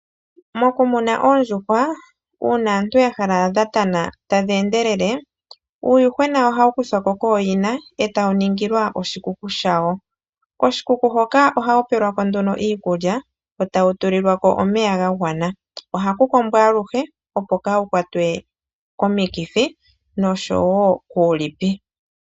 Moku muna oondjuhwa uuna aantu yahala dha tana tadhi endelele, uuyuhwena ohawu kuthwako kooyina eta wu ningilwa oshikuku shawo . Koshikuku hoka ohawu tulilwako iikulya wo tawu tulilwako omeya ga gwana. Ohaku kombwa aluhe opo kawu kwatwe komikithi noshowo kuulipi.